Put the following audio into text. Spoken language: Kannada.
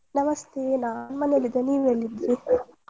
ನಮಸ್ತೆ ನಾನ್ ಮನೇಲ್ ಇದೆ ನೀವ್ ಎಲ್ ಇದೀರಿ? .